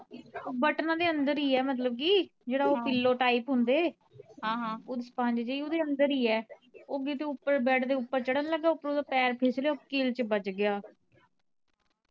ਬਟਨਾ ਦੇ ਅੰਦਰ ਈ ਆ ਮਤਲਬ ਕੀ ਜਿਹੜਾ ਉਹ pillow type ਹੁੰਦੇ ਉਹ sponge ਜੀ ਓਦੇ ਅੰਦਰ ਈ ਏ ਉਹ ਕਿਤੇ ਉਪਰ ਬੈੱਡ ਦੇ ਉਪਰ ਚੜ੍ਹਨ ਲੱਗਾ ਉਪਰੋਂ ਓਦਾਂ ਪੈਰ ਫਿਸਲਿਆ ਕਿੱਲ ਚ ਬਜ ਗਿਆ